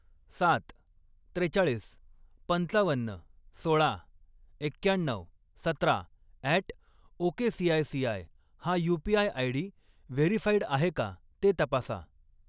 सात, त्रेचाळीस, पंचावन्न, सोळा, एक्क्याण्णऊ, सतरा अॅट ओकेसीआयसीआय हा यू.पी.आय. आयडी व्हेरीफाईड आहे का ते तपासा.